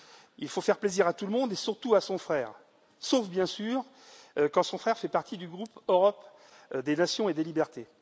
Il faut faire plaisir à tout le monde et surtout à son frère, sauf bien sûr quand son frère fait partie du groupe Europe des nations et des libertés.